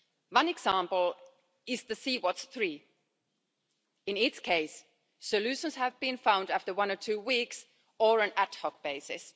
One example is the Sea Watch 3. In its case, solutions have been found after one or two weeks or on an ad hoc basis.